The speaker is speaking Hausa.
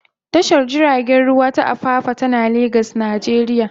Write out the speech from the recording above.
Tashar jiragen ruwa ta Apapa tana Legas, Najeriya.